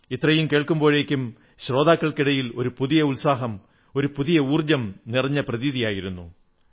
ഇത്രയും കേൾക്കുമ്പോഴേക്കും ശ്രോതാക്കൾക്കിടയിൽ ഒരു പുതിയ ഉത്സാഹം പുതിയ ഊർജ്ജം നിറഞ്ഞ പ്രതീതിയായിരുന്നു